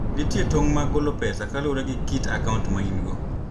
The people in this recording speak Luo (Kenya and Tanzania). Nitie tong ' mag golo pesa kaluwore gi kit akaunt ma in - go.